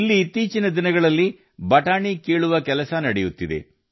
ಇಲ್ಲಿ ಇತ್ತೀಚಿನ ದಿನಗಳಲ್ಲಿ ಅವರೆಕಾಳು ಕೀಳುವುದು ನಡೆಯುತ್ತಿದೆ